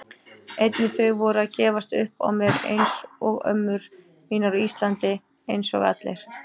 Einnig þau voru að gefast upp á mér einsog ömmur mínar á Íslandi, einsog allir.